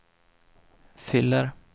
fyller